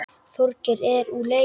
Þorgeir er úr leik.